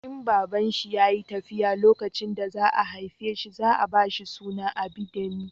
In babanshi ya yi tafiya lokacin da za a haife shi za a ba shi suna Abidemi